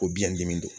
Ko biɲɛ dimi don